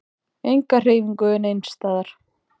Enga hreyfingu neins staðar.